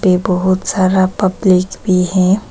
ये बहुत सारा पब्लिक भी है।